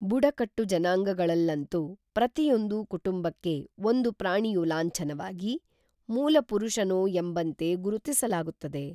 ಬುಡಕಟ್ಟು ಜನಾಂಗಗಳಲ್ಲಂತೂ ಪ್ರತಿಯೊಂದು ಕುಟುಂಬಕ್ಕೆ ಒಂದು ಪ್ರಾಣಿಯು ಲಾಂಛನವಾಗಿ, ಮೂಲಪುರುಷನೋಎಂಬಂತೆ ಗುರುತಿಸಲಾಗುತ್ತದೆ.